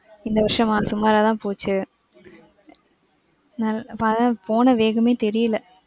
இந்த வருஷமா சுமாரா தான் போச்சு. போன வேகமே தெரியல.